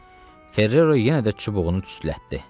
Ferro yenə də çubuğunu tüstülətdi.